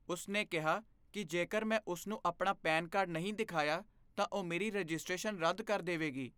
ਉਸ ਨੇ ਕਿਹਾ ਕਿ ਜੇਕਰ ਮੈਂ ਉਸ ਨੂੰ ਆਪਣਾ ਪੈਨ ਕਾਰਡ ਨਹੀਂ ਦਿਖਾਇਆ, ਤਾਂ ਉਹ ਮੇਰੀ ਰਜਿਸਟ੍ਰੇਸ਼ਨ ਰੱਦ ਕਰ ਦੇਵੇਗੀ।